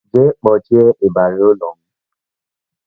Jee kpọchie ịbarị ụlọ m!